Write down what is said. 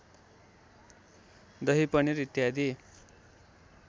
दही पनिर इत्यादि